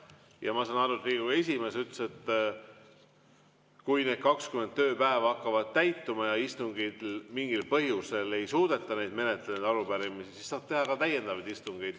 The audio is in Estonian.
Ja ma saan aru, et Riigikogu esimees ütles, et kui need 20 tööpäeva hakkavad täis saama ja istungitel mingil põhjusel ei suudeta neid arupärimisi menetleda, siis saab teha ka täiendavaid istungeid.